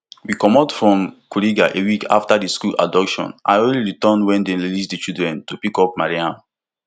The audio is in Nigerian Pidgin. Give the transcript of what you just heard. we comot from kuriga a week after di school abduction i only return wem dem release di children to pick up mariam